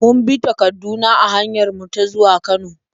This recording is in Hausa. Mun bi ta Kaduna a hanyar mu ta zuwa Kano.